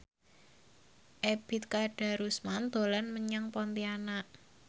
Ebet Kadarusman dolan menyang Pontianak